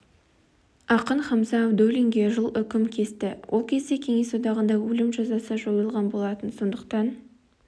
ақын хамза абдуллинге жыл үкім кесті ол кезде кеңес одағында өлім жазасы жойылған болатын сондықтан